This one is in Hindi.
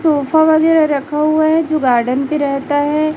सोफा वगैरा रखा हुआ है जो गार्डन पे रहता है।